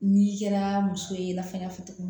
N'i kɛra muso ye i n'a fɔ n y'a fɔ cogo min na